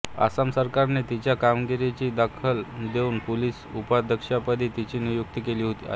आसाम सरकारने तिच्या कामगिरीची दखल घेऊन पोलिस उपअधीक्षपदी तिची नियुक्ती केली आहे